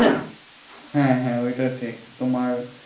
হ্যাঁ হ্যাঁ ওইটা ঠিক তোমার